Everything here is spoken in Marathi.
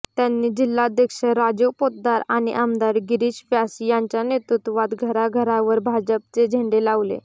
त्यांनी जिल्हाध्यक्ष राजीव पोतदार आणि आमदार गिरीश व्यास यांच्या नेतृत्वात घराघरावर भाजपचे झेंडे लावले